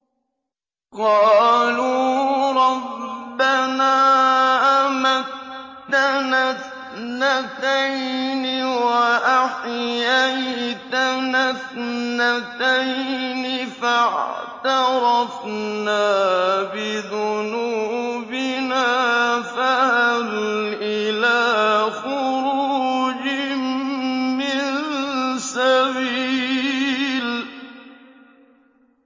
قَالُوا رَبَّنَا أَمَتَّنَا اثْنَتَيْنِ وَأَحْيَيْتَنَا اثْنَتَيْنِ فَاعْتَرَفْنَا بِذُنُوبِنَا فَهَلْ إِلَىٰ خُرُوجٍ مِّن سَبِيلٍ